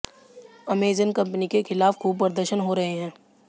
Amazon company के खिलाफ खूब प्रदर्शन हो रहे हैं